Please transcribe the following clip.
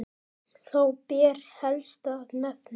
Þá ber helst að nefna